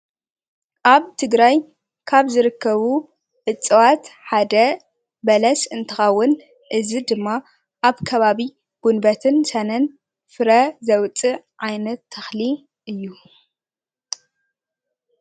ኣብ ትግራይ ካብ ዝርከቡ እፅዋት ሓደ በለስ እንትኸውን እዚ ድማ ኣብ ከባቢ ጉንበትን ሰነን ፍረ ዘውፅእ ዓይነት ተኽሊ እዩ።